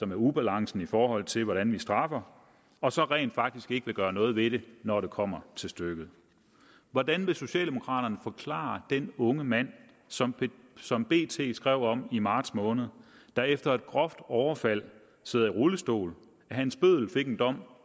med ubalancen i forhold til hvordan vi straffer og så rent faktisk ikke vil gøre noget ved det når det kommer til stykket hvordan vil socialdemokraterne forklare den unge mand som som bt skrev om i marts måned der efter et groft overfald sidder i rullestol at hans bøddel fik en dom